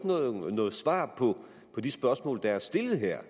noget svar på de spørgsmål der er stillet her